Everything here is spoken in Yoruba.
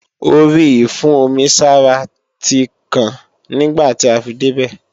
Orí ìfún-omi-sára tí kàn nígbàtí a fi débè